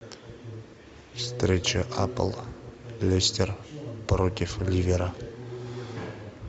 встреча апл лестер против ливера